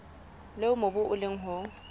leo mobu o leng ho